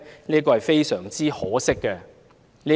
這是非常可惜的。